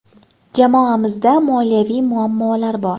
Jamoamizda moliyaviy muammolar bor.